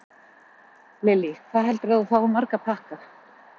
Lillý: Hvað heldurðu að þú fáir marga pakka?